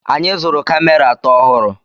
Anyị zụrụ kamera atọ ọhụrụ.